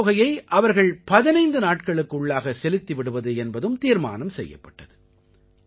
பாக்கித் தொகையை அவர்கள் 15 நாட்களுக்கு உள்ளாக செலுத்தி விடுவது என்பதும் தீர்மானம் செய்யப்பட்டது